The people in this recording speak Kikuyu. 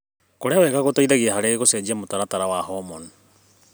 Kũrĩa wega gũteithagia harĩ gũcenjia mũtaratara wa homoni.